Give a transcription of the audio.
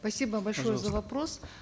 спасибо большое за вопрос